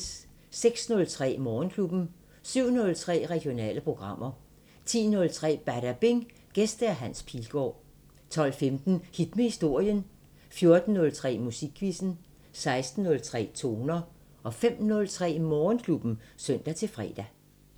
06:03: Morgenklubben 07:03: Regionale programmer 10:03: Badabing: Gæst Hans Pilgaard 12:15: Hit med historien 14:03: Musikquizzen 16:03: Toner 05:03: Morgenklubben (søn-fre)